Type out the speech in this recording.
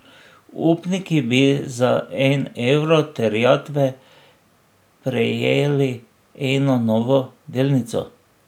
Upniki bi za en evro terjatve prejeli eno novo delnico.